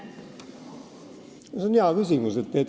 See on hea küsimus.